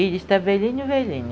E está velhinho, velhinho.